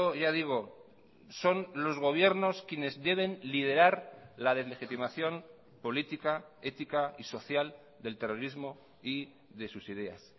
ya digo son los gobiernos quienes deben liderar la deslegitimación política ética y social del terrorismo y de sus ideas